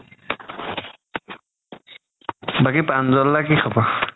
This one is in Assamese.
বাকি প্ৰান্জাল দাৰ কি খবৰ?